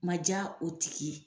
Ma ja o tigi ye.